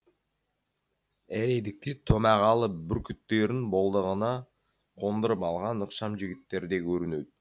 әредікте томағалы бүркіттерін болдағына қондырып алған ықшам жігіттер де көрінеді